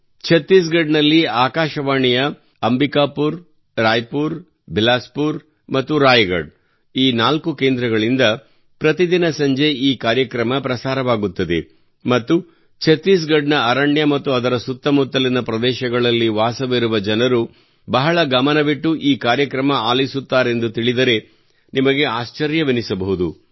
ಛತ್ತೀಸ್ ಗಡ್ ನಲ್ಲಿ ಆಕಾಶವಾಣಿಯ Ambikapur Raipur Bilaspur ಮತ್ತು ರಾಯಗಢ್ ಈ ನಾಲ್ಕು ಕೇಂದ್ರಗಳಿಂದ ಪ್ರತಿದಿನ ಸಂಜೆ ಈ ಕಾರ್ಯಕ್ರಮ ಪ್ರಸಾರವಾಗುತ್ತದೆ ಮತ್ತು ಛತ್ತೀಸ್ ಗಢ್ ನ ಅರಣ್ಯ ಮತ್ತು ಅದರ ಸುತ್ತಮುತ್ತಲಿನ ಪ್ರದೇಶಗಳಲ್ಲಿ ವಾಸವಿರುವ ಜನರು ಬಹಳ ಗಮನವಿಟ್ಟು ಈ ಕಾರ್ಯಕ್ರಮ ಆಲಿಸುತ್ತಾರೆಂದು ತಿಳಿದರೆ ನಿಮಗೆ ಆಶ್ಚರ್ಯವೆನಿಸಬಹುದು